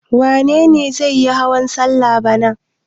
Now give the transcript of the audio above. Wane ne zai yi hawan salla bana?